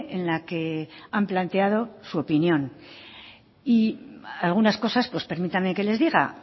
en la que han planteado su opinión y algunas cosas pues permítame que les diga